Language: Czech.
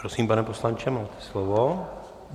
Prosím, pane poslanče, máte slovo.